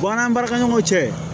Bɔn an baarakɛɲɔgɔn cɛ